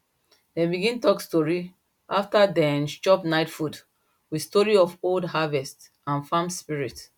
dem begin talk story after dem chop night food with story of old harvest and farm spirit